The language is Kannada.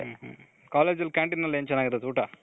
college ಅಲ್ಲಿ canteen ಅಲ್ಲಿ ಏನ್ ಚೆನಾಗಿರುತ್ತೆ ಊಟ .